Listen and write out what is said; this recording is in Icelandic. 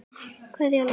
Kveðja, Laufey.